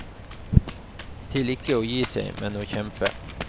Til ikke å gi seg, men å kjempe.